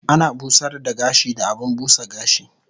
Ana busar da gashi da abun busa gashi